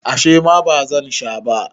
a ' shima ba zan Sha ba